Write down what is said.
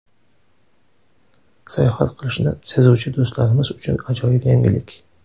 Sayohat qilishni sevuvchi do‘stlarimiz uchun ajoyib yangilik.